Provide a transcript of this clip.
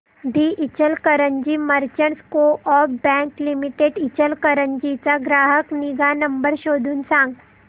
दि Ichalkaranji merchants co-op bank limited Ichalkaranji चा ग्राहक निगा नंबर शोधून सांग